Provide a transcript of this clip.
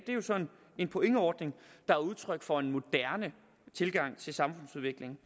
er jo så en pointordning der er udtryk for en moderne tilgang til samfundsudviklingen